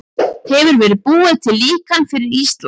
Hefur verið búið til líkan fyrir Ísland?